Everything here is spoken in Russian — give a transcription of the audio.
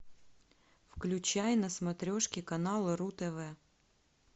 включай на смотрешке канал ру тв